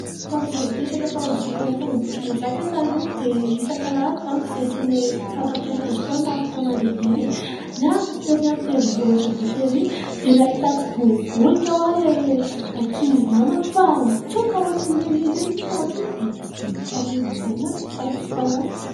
Tamin'ny izahay nipetraka tao amin'ny zokinay tany Ambohitrimanjaka taloha dia, isak'Alahady manko izahay sy ilay mpanampy anazy tao no afaka mandehande dia niakatra tery amin'ny tendrombohitra be tery dia, nahita tsibobolika ho aho ilay ankizy namako fa nitsoaka ohatran'ireny inona ireny nefa ohatry ny hoe biby tsy dia mampaninona izany ary ny fahitako anazy.